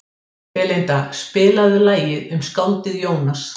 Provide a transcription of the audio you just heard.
Belinda, spilaðu lagið „Um skáldið Jónas“.